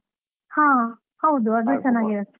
ಹಾ, ಹೌದು ಅದು ಚೆನ್ನಾಗಿರುತ್ತೆ.